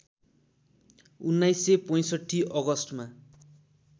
१९६५ अगस्टमा